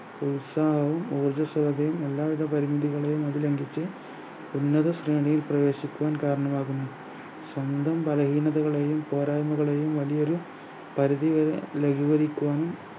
ഉത്സാഹവും ഓജസ്സോടെയും എല്ലാ വിധ പരിമിതികളെയും അത് ലംഘിച്ച് ഉന്നത ശ്രേണിയിൽ പ്രവേശിക്കാൻ കാരണമാകുന്നു സ്വന്തം ബലഹീനതകളെയും പോരായ്മകളെയും വലിയൊരു പരിധി വരെ ലഘുകരിക്കുവാനും